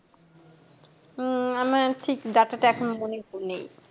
উম আমার ঠিক data টা এখন মনে নেই